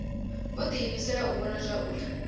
vho diimisela u vhona zwauri